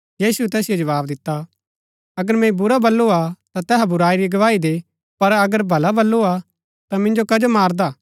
यीशुऐ तैसिओ जवाव दिता अगर मैंई बुरा बल्लू हा ता तैहा बुराई री गवाही दे पर अगर भला बल्लू ता मिन्जो कजो मारदा हा